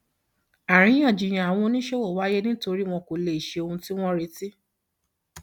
àríyànjiyàn àwọn oníṣòwò wáyé nítorí wọn kò lè ṣe ohun tí wọn retí